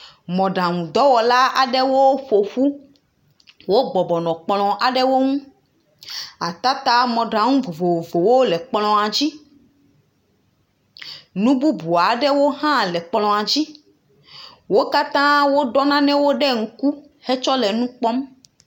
Mɔɖaŋudɔwɔla aɖewo ƒoƒu, wo bɔbɔ nɔ kplɔ aɖewo ŋu. atata mɔɖaŋu vovovo wo nɔ kplɔa dzi. Nu bubu aɖewo hã le ekplɔa dzi. Wo katã wo ɖɔ nane ɖe ŋku hetsɔ le nukpɔm.